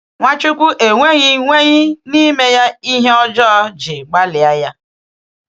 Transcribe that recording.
Ǹwáchukwu enweghị nweghị n’ime ya ihe ọjọọ ji gbalịa ya.